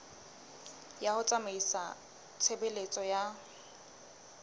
ya ho tsamaisa tshebeletso ya